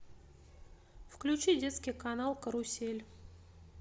включи детский канал карусель